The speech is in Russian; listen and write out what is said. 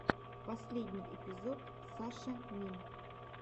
последний эпизод сашамин